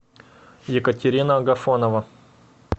екатерина агафонова